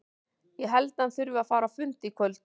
Ég held að hann þurfi að fara á fund í kvöld.